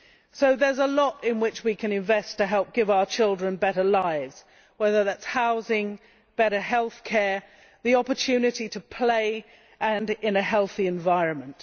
So there is a lot in which we can invest to help give our children better lives whether that be housing, better health care or the opportunity to play in a healthy environment.